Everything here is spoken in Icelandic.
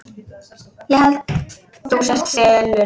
Ég held þú sért selur.